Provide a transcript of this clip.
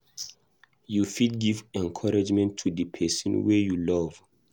You fit give encouragement to di person wey you love